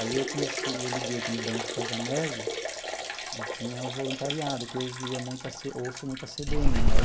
Aí, eu comecei, eu liguei aqui no Dante Pazzanese e tinha o voluntariado, que eu ouvia muito a ouço muito a cê bê ene, né?